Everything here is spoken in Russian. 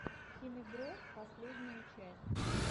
хинебро последняя часть